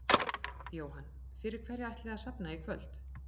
Jóhann: Fyrir hverja ætlið þið að safna í kvöld?